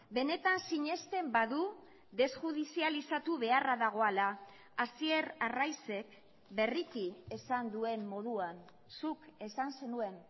benetan sinesten badu desjudizializatu beharra dagoela hasier arraizek berriki esan duen moduan zuk esan zenuen